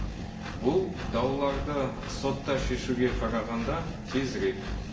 бұл дауларды сотта шешуге қарағанда тезірек